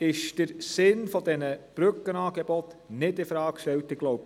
dass der Sinn dieser Brückenangebote nicht infrage gestellt ist;